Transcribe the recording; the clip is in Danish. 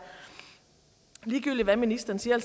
ligegyldigt hvad ministeren siger